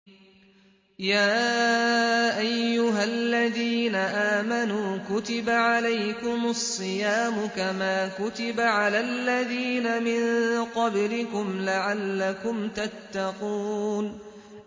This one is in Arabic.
يَا أَيُّهَا الَّذِينَ آمَنُوا كُتِبَ عَلَيْكُمُ الصِّيَامُ كَمَا كُتِبَ عَلَى الَّذِينَ مِن قَبْلِكُمْ لَعَلَّكُمْ تَتَّقُونَ